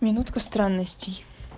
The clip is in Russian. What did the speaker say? минутка странностей